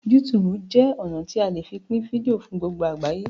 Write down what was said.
YouTube jé ọnà tí a lẹ Pin fídíò fún gbogbo àgbáyé.